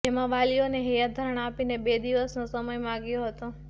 જેમાં વાલીઓને હૈયાધારણા આપીને બે દિવસનો સમય માંગ્યો હતો